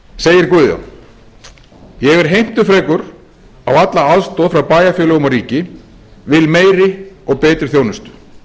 segir guðjón ég er heimtufrekur á alla aðstoð frá bæjarfélögum og ríki vil meiri og betri þjónustu